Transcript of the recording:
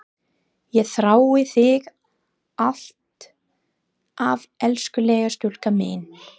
Ég þrái þig alt af elskulega stúlkan mín.